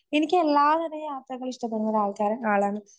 എനിക്ക് എല്ലാതര യാത്രകളും ഇഷ്ടപ്പെടുന്ന ആൾക്കാരാ, ആളാണ്.